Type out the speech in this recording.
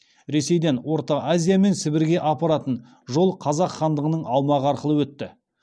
ресейден орта азия мен сібірге апаратын жол қазақ хандығының аумағы арқылы өтті